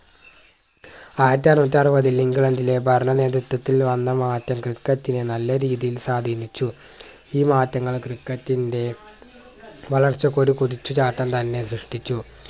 ആയിരത്തി എണ്ണൂറ്റി അറുപതിൽ ഇംഗ്ലണ്ടിലെ ഭരണ നേതൃത്വത്തിൽ വന്ന മാറ്റം ക്രിക്കറ്റിനെ നല്ല രീതിയിൽ സ്വാധീനിച്ചു ഈ മാറ്റങ്ങൾ ക്രിക്കറ്റിന്റെ വളർച്ചയ്ക്കൊരു കുതിച്ചു ചാട്ടം തന്നെ സൃഷ്ട്ടിച്ചു